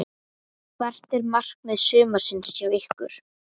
Hvert er markmið sumarsins hjá ykkur?